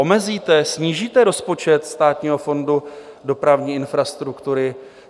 Omezíte, snížíte rozpočet Státního fondu dopravní infrastruktury?